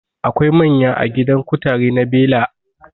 Akwai manya a gidan kutare na bela